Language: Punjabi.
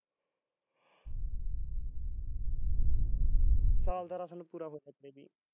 ਸਾਲ ਤਾਂ ਸਾਨੂੰ ਪੂਰਾ